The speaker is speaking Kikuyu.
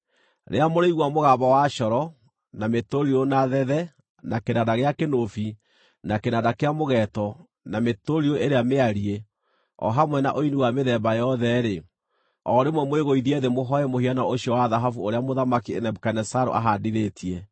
Rĩrĩa mũrĩigua mũgambo wa coro, na mĩtũrirũ, na thethe, na kĩnanda gĩa kĩnũbi, na kĩnanda kĩa mũgeeto, na mĩtũrirũ ĩrĩa mĩariĩ, o hamwe na ũini wa mĩthemba yothe-rĩ, o rĩmwe mwĩgũithie thĩ mũhooe mũhianano ũcio wa thahabu ũrĩa Mũthamaki Nebukadinezaru aahaandithĩtie.